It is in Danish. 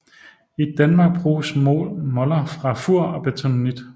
I Danmark bruges moler fra Fur og bentonit